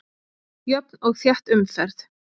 Jöfn og þétt umferð